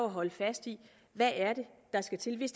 at holde fast i hvad det er der skal til hvis